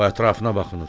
O ətrafına baxınır.